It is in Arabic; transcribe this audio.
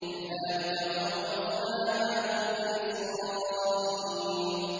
كَذَٰلِكَ وَأَوْرَثْنَاهَا بَنِي إِسْرَائِيلَ